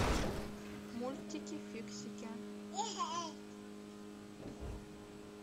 мультики фиксики